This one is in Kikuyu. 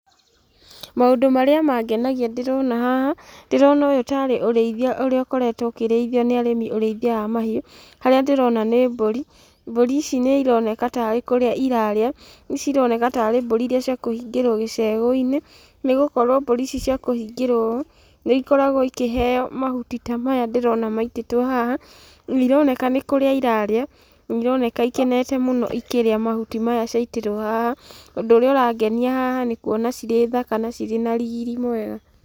Maũndũ marĩa mangenagia ndĩrona haha, ndĩrona ũyũ ta arĩ ũrĩithia ũrĩa ũkoretwo ũkĩrĩithio nĩ arĩmi ũrĩithia wa mahiũ, harĩa ndĩrona nĩ mbũri, mbũri ici nĩ ironeka tarĩ kũrĩa irarĩa. Ici ironeka ta arĩ mbũri iria cia kũhingĩrwo gĩcegũ-inĩ, nĩ gũkorwo mbũri ici ciakũhingĩrwo ũũ, nĩ ikoragwo ikĩheo mahuti ta maya ndĩrona maitĩtwo haha, nĩironeka nĩ kũrĩa irarĩa, na ironeka ikenete mũno ikĩrĩa mahuti maya ciaitĩrwo haha. Ũndũ ũrĩa ũrangenia haha nĩ kuona cirĩthaka na cirĩ na riri mwega.